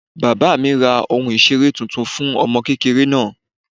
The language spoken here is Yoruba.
Bàbá mí ra ohún ìseré tuntun fún ọmọ kékéré náá